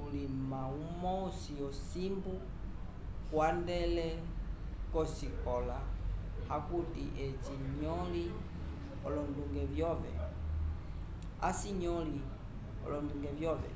ulima umosi ocimbu kwandele kosikola akuti aci nyoli olonduge vyove